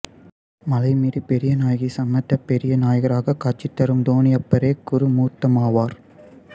மலைமீது பெரிய நாயகி சமேத பெரிய நாயகராகக் காட்சி தரும் தோணியப்பரே குரு மூர்த்தமாவார்